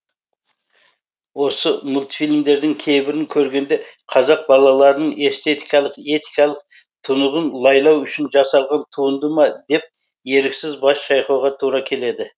осы мультфильмдердің кейбірін көргенде қазақ балаларының эстетикалық этикалық тұнығын лайлау үшін жасалған туынды ма деп еріксіз бас шайқауға тура келеді